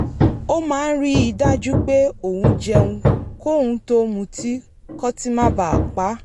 ó máa ń rí i dájú pé òun jẹun kóun tó mutí kótí má ba à pa á